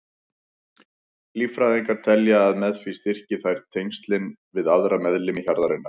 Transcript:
Líffræðingar telja að með því styrki þeir tengslin við aðra meðlimi hjarðarinnar.